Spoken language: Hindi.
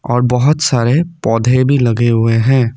और बहोत सारे पौधे भी लगे हुए हैं।